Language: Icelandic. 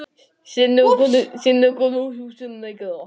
Álfur virtist sofa ákaflega þungum svefni.